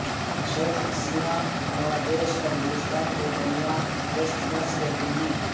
شیخ Hasina Bangladesh اور ہندوستان کے درمیان ٹیسٹ میچ دیکھیں گی